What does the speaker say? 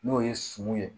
N'o ye sun ye